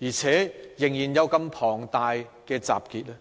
而且仍有如此龐大的集結呢？